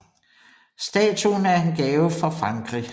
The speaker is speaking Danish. Statuen er en gave fra Frankrig